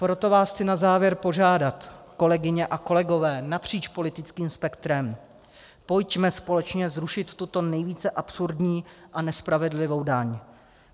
Proto vás chci na závěr požádat, kolegyně a kolegové napříč politickým spektrem, pojďme společně zrušit tuto nejvíce absurdní a nespravedlivou daň.